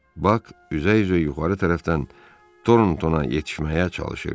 Bak üzə-üzə yuxarı tərəfdən Toronton'a yetişməyə çalışırdı.